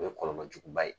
O ye kɔlɔlɔ juguba ye